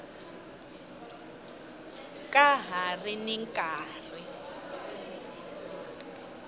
ka ha ri ni nkarhi